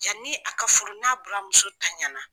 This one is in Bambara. Yanni a ka furu n'a buramuso tanyana